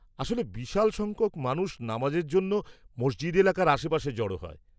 -আসলে, বিশাল সংখ্যক মানুষ নামাজের জন্য মসজিদ এলাকার আশেপাশে জড় হয়।